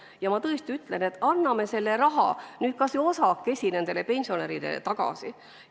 Ja ma tõesti ütlen, et anname selle raha nüüd kas või osaliselt nendele pensionäridele tagasi.